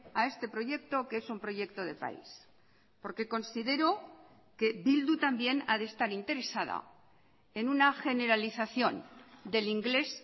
a este proyecto que es un proyecto de país porque considero que bildu también a de estar interesada en una generalización del inglés